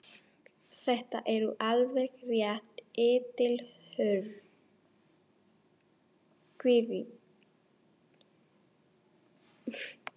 Þetta eru alveg hreint eitilhörð kvikindi.